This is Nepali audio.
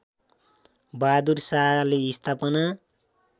बहादुर शाहले स्थापना